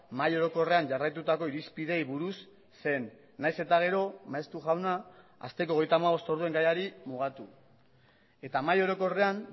mahai orokorrean jarraitutako irizpideei buruz zen nahiz eta gero maeztu jauna asteko hogeita hamabost orduen gaiari mugatu eta mahai orokorrean